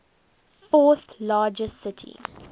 fourth largest city